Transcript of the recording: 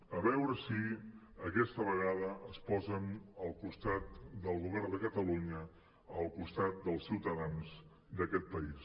a veure si aquesta vegada es posen al costat del govern de catalunya al costat dels ciutadans d’aquest país